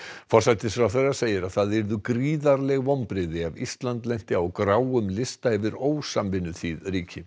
forsætisráðherra segir að það yrðu gríðarleg vonbrigði ef Ísland lenti á gráum lista yfir ósamvinnuþýð ríki